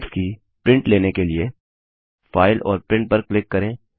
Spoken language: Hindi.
स्लाइड्स की प्रिंट लेने के लिए फाइल और प्रिंट पर क्लिक करें